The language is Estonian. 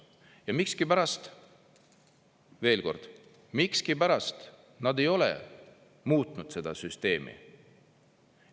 Ja miskipärast, veel kord, miskipärast nad ei ole muutnud seda süsteemi.